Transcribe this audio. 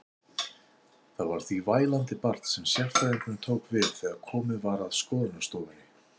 Það var því vælandi barn sem sérfræðingurinn tók við þegar komið var að skoðunarstofunni.